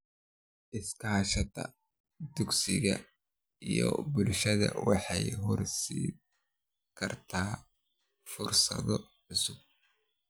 Iskaashatada dugsiga iyo bulshada waxay horseedi kartaa fursado cusub.